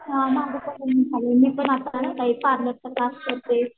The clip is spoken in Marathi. हा माझं पण नेहमी चाललंय मी पण आता काय पार्लरचा क्लास करते.